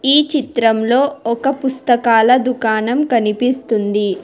ఈ చిత్రంలో ఒక పుస్తకాల దుకాణం కనిపిస్తుంది